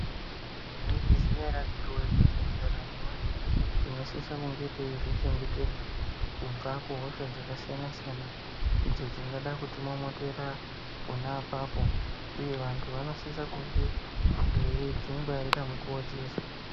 Mwaizviziya ere akhiti woye kuti muntaramo mweantu tinosise kuzvichengetedza kubva kuhosha dzakasiyana siyana idzo dzingada kutimomotera pona apapo uye vantu vanosise kunge veidzingwarira nguwa dzeshe.